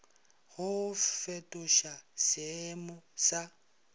go go fetoša seeemo sa